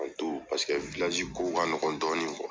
paseke kow ka ɲɔgɔn dɔɔnin